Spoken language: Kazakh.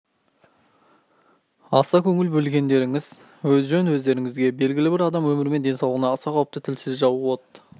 аса көңіл бөлгендеріңіз жөн өздеріңізге белгілі адам өмірі мен денсаулығына аса қауіпті тілсіз жау от